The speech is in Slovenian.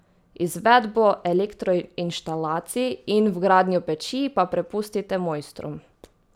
Izvedbo elektroinštalacij in vgradnjo peči pa prepustite mojstrom.